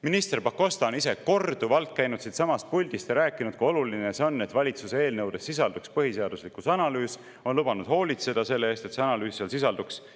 Minister Pakosta on ise korduvalt käinud siinsamas puldis rääkimas, kui oluline see on, et valitsuse eelnõudes sisalduks põhiseaduslikkuse analüüs, ja on lubanud hoolitseda selle eest, et see analüüs seal sisalduks.